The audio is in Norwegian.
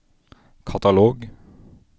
katalog